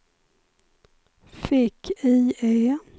fick-IE